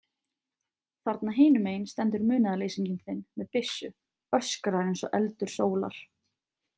Þarna hinum megin stendur munaðarleysinginn þinn með byssu, öskrar eins og eldur sólar.